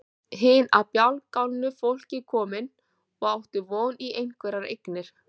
Hin af bjargálna fólki komin og átti von í einhverjar eignir.